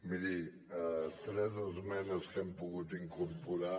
miri tres esmenes que hem pogut incorporar